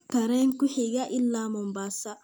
tareen ku xiga ila Mombasa